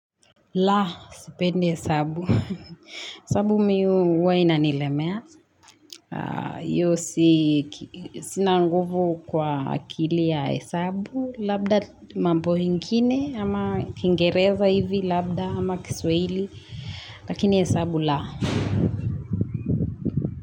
La, sipende hesabu. Hesabu mi huwa inanilemea. Hiyo si, sina nguvu kwa akili ya hesabu. Labda mambo ingine ama kiingereza hivi, labda ama kiswahili. Lakini hesabu la.